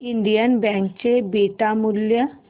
Indian Bank चे beta मूल्य